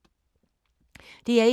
DR1